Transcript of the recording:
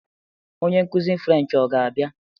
Onye nkuzi French ọ ga-abịa?